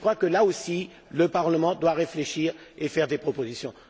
Là aussi, le Parlement doit réfléchir et faire des propositions.